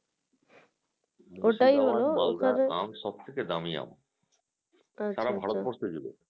মালদার আম সব থেকে দামি আম সারা ভারত বর্ষ জুড়ে